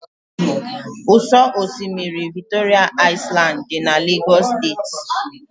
Ụ́sọ̀ osimiri Victoria Island dị na Lagos State.